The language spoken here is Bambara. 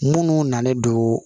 Munnu nalen don